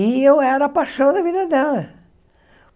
E eu era a paixão da vida dela.